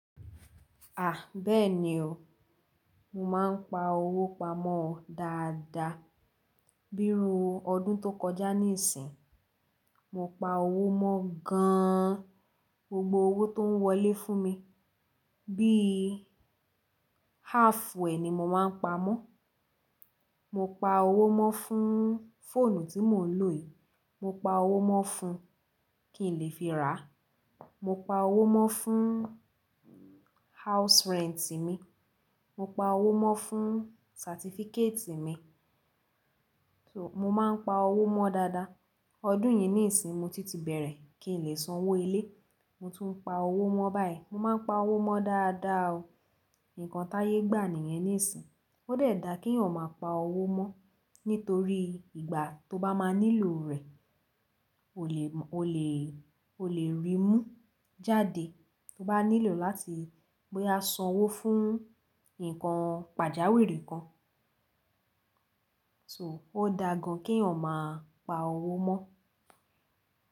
À, bẹ́ẹ̀ni o, mo máa ń pa owó pamọ́ dáadáa. Bíi ru ọdún tó kọjá níìsín, mo pa owó mọ́ gan-an, gbogbo owó tó ń wọlé fún mi. Bíi half e ni mo máa ń pa mọ́. Mo pa owó mọ́ fún fóònù tí mò ń lò yìí, mo pa owó mọ́ fún kí n lè fi rà. Mo pa owó mọ́ fún house rent mi, mo pa owó mọ́ fún certificate mi. So, mo máa ń pa owó mọ́ dáadáa. Ọdún yìí níìsín mo tìtì bẹ̀rẹ̀ kí n lè sanwó ilé, mo tún pa owó mọ́ báyìí. Mo máa ń pa owó mọ́ dáadáa o. Nǹkan táyé gbà nìyẹn níìsín, ó dẹ̀ dà kí ọmọ pa owó mọ́, nítorí ìgbà tó bá máa nílò rẹ̀, o lè, o lè, o lè rí mú jáde. To bá nílò láti boya sanwó fún nǹkan pàjáwìrì kan. So, ó dà gan-an kí yan maa pa owó mọ́.